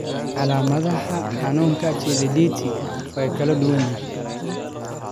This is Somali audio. Calaamadaha xanuunka Chilaiditi waa kala duwan yihiin.